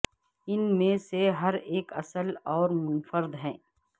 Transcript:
ان میں سے ہر ایک اصل اور منفرد ہے